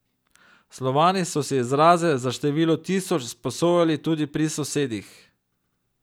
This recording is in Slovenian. Slovani so si izraze za število tisoč sposojali tudi pri sosedih.